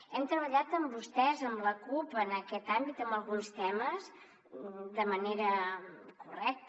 hem treballat amb vostès amb la cup en aquest àmbit en alguns temes de manera correcta